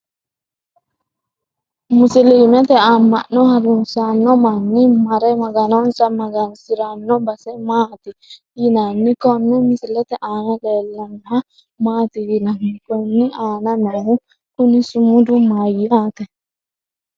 musulumete amma'no harunsanno manni mare maganonsa magansiranno base maati yinanni? konne misilete aana leellannoha maati yinanni? konni aana noohu kuni sumudu mayyaate?